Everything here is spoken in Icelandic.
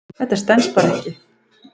Það stenst bara ekki.